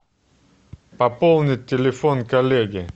пополнить телефон коллеги